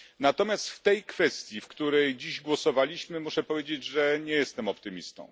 Natomiast w tej kwestii, w której dziś głosowaliśmy, muszę powiedzieć, że nie jestem optymistą.